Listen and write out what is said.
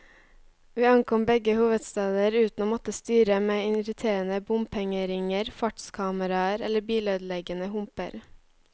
Vi ankom begge hovedsteder uten å måtte styre med irriterende bompengeringer, fartskameraer eller bilødeleggende humper.